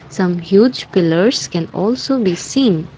some huge pillers can also we seen.